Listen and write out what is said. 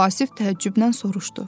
Vasif təəccüblə soruşdu.